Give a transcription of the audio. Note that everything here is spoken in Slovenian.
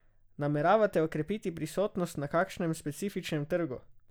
Nameravate okrepiti prisotnost na kakšnem specifičnem trgu?